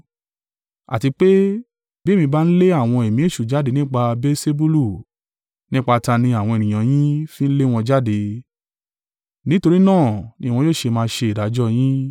Àti pé, bi èmi bá ń lé àwọn ẹ̀mí èṣù jáde nípa Beelsebulu, nípa ta ni àwọn ènìyàn yín fi ń lé wọn jáde? Nítorí náà ni wọn yóò ṣe má ṣe ìdájọ́ yín.